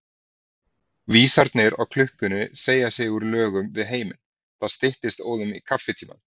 Vísarnir á klukkunni segja sig úr lögum við heiminn, það styttist óðum í kaffitímann.